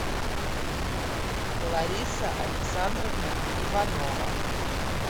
лариса александровна иванова